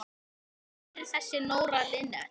Hver er þessi Nóra Linnet?